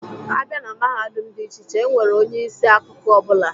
A bịa na Mahadum dị iche iche, E nwere onye isi akụkụ ọ bụla.